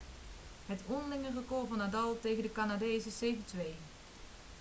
het onderlinge record van nadal tegen de canadees is 7-2